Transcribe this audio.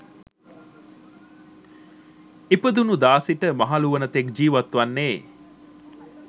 ඉපදුණු දා සිට මහලු වන තෙක් ජිවත්වන්නේ.